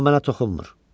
Amma mənə toxunmur.